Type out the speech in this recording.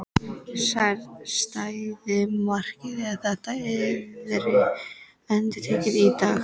Stæði markið ef þetta yrði endurtekið í dag?